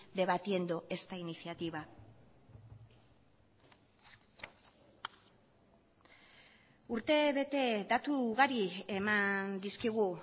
debatiendo esta iniciativa urte bete datu ugari eman dizkigu